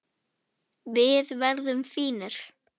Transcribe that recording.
Við verðum fínir.